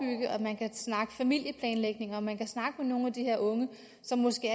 snakke familieplanlægning og at man kan snakke med nogle af de her unge som måske